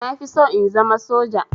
Na fi so in zama soja